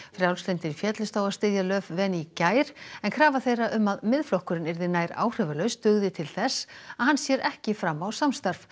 frjálslyndir féllust á að styðja í gær en krafa þeirra um að Miðflokkurinn yrði nær áhrifalaus dugði til þess að hann sér ekki fram á samstarf